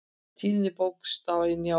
Tíðni bókstafa í Njálu.